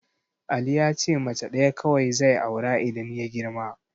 Ali yace mace ɗaya kawai zai aura idan ya girma.